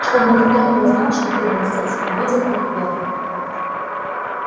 чтобы никто не узнал что ты был здесь увидел их первым